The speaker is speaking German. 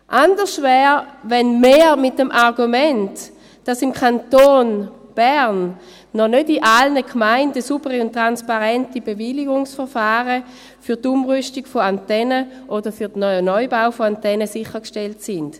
Anders wäre es mit dem Argument, dass im Kanton Bern noch nicht in allen Gemeinden saubere und transparente Bewilligungsverfahren für die Umrüstung oder für den Neubau von Antennen sichergestellt sind.